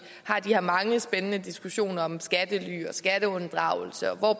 har de her mange spændende diskussioner om skattely og skatteunddragelse og